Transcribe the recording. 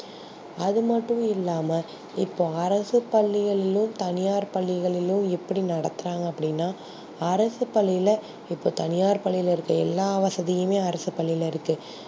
அது மட்டும் இல்லாம இப்போ அரசு பள்ளிகளிலும் தனியார் பள்ளிகளிலும் எப்டி நடத்துறாங்க அப்டினா அரசு பள்ளில இப்போ தனியார் பள்ளில இருக்க எல்லா வசதியும் அரசு பள்ளில இருக்கு